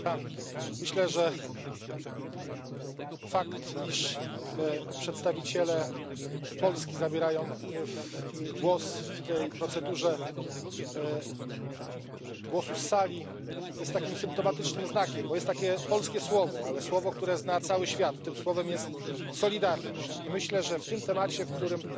Pani Przewodnicząca! Myślę, że fakt, iż przedstawiciele Polski zabierają głos w tej procedurze zgłoszeń z sali, jest takim symptomatycznym znakiem, bo jest takie polskie słowo, ale słowo, które zna cały świat, tym słowem jest solidarność i myślę, że w tym temacie, w którym